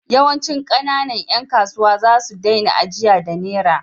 Yawancin ƙananan ƴan kasuwa za su daina ajiya da Nera.